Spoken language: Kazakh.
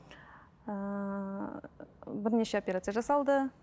ыыы бірнеше операция жасалды